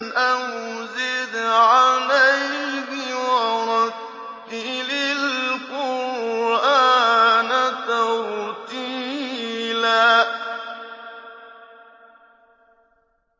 أَوْ زِدْ عَلَيْهِ وَرَتِّلِ الْقُرْآنَ تَرْتِيلًا